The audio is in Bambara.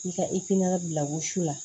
I ka ikiy bila wusu la